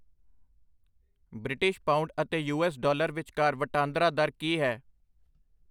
British pound ਅਤੇ U S. Dollar* ਵਿਚਕਾਰ ਵਟਾਂਦਰਾ ਦਰ ਕੀ ਹੈ।